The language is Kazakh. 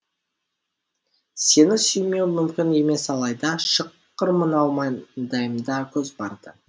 сені сүймеу мүмкін емес алайда шыққыр мынау маңдайымда көз барда